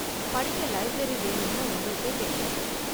படிக்க லைப்ரரி வேணும்னு உங்களுக்கே தெரியும்